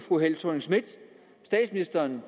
statsministeren